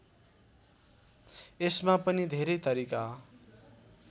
यसमा पनि धेरै तरिका